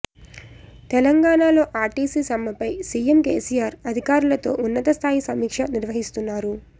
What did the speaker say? తెలంగాణలో ఆర్టీసీ సమ్మెపై సీఎం కేసీఆర్ అధికారులతో ఉన్నత స్థాయి సమీక్ష నిర్వహిస్తున్నారు